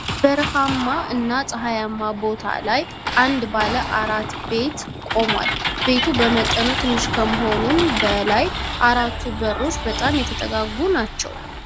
በበረሃማ እና ጸሃያማ ቦታ ላይ አንድ ባለ አራት በር ቤት ቆሟል። ቤቱ በመጠኑ ትንሽ ከመሆኑም በላይ አራቱ በሮች በጣም የተጠጋጉ ናቸው።